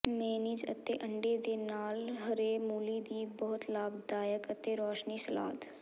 mayonnaise ਅਤੇ ਅੰਡੇ ਦੇ ਨਾਲ ਹਰੇ ਮੂਲੀ ਦੀ ਬਹੁਤ ਲਾਭਦਾਇਕ ਅਤੇ ਰੌਸ਼ਨੀ ਸਲਾਦ